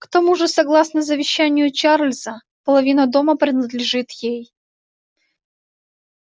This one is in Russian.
к тому же согласно завещанию чарлза половина дома принадлежит ей